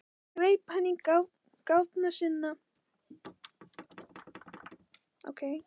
Svo greip hann til gáfna sinna.